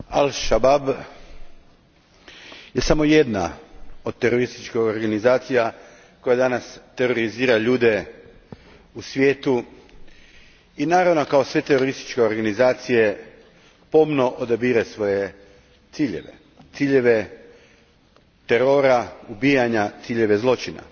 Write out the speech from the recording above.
Gospođo predsjedavajuća, al Shabaab je samo jedna od terorističkih organizacija koja danas terorizira ljude u svijetu i naravno kao sve terorističke organizacije pomno odabire svoje ciljeve, ciljeve terora, ubijanja, ciljeve zločina.